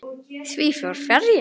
Því fór fjarri.